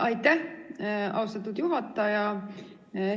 Aitäh, austatud juhataja!